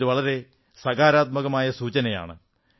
ഇത് വളരെ സകാരാത്മകമായ സൂചനയാണ്